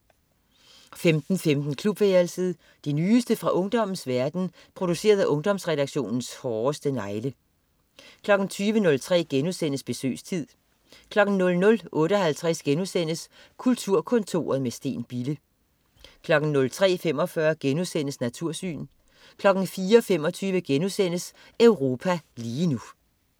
15.15 Klubværelset. Det nyeste nye fra ungdommens verden, produceret af Ungdomsredaktionens hårdeste negle 20.03 Besøgstid* 00.58 Kulturkontoret med Steen Bille* 03.45 Natursyn* 04.25 Europa lige nu*